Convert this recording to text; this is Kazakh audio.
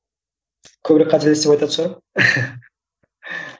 көбірек қателес деп айтатын шығармын